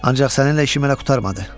Ancaq səninlə işim hələ qurtarmadı.